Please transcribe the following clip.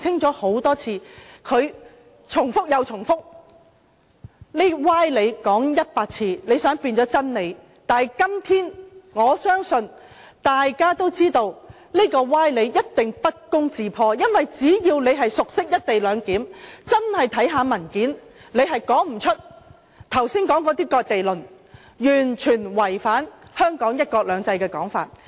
他們重複又重複，說歪理100次，想將歪理變成真理，但我相信今天大家都知道，歪理一定會不攻自破，因為只要你熟悉"一地兩檢"，看看文件，你便說不出剛才的"割地論"，因為它是完全違反香港的"一國兩制"。